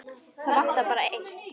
Það vantar bara eitt.